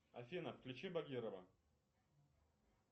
афина включи багирова